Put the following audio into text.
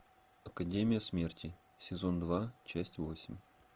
академия смерти сезон два часть восемь